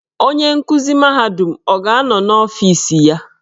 Onye nkuzi mahadum ọ ga-anọ n'ọfiis iya?